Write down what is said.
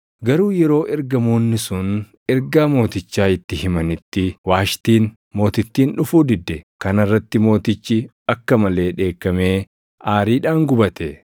Garuu yeroo ergamoonni sun ergaa mootichaa itti himanitti Waashtiin Mootittiin dhufuu didde. Kana irratti mootichi akka malee dheekkamee aariidhaan gubate.